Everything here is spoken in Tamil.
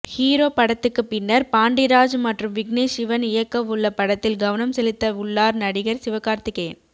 ஹீரோ படத்துக்கு பின்னர் பாண்டிராஜ் மற்றும் விக்னேஷ் சிவன் இயக்கவுள்ள படத்தில் கவனம் செலுத்த உள்ளார் நடிகர் சிவகார்த்திகேயன்